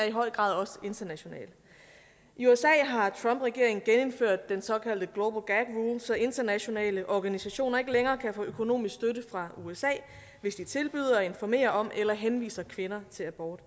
i høj grad også international i usa har trumpregeringen genindført den såkaldte global gag så internationale organisationer ikke længere kan få økonomisk støtte fra usa hvis de tilbyder at informere om eller henviser kvinder til abort